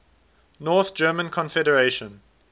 north german confederation